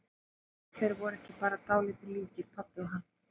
Gott ef þeir voru ekki bara dálítið líkir, pabbi og hann.